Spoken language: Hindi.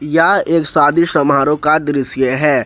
यह एक शादी समारोह का दृश्य है।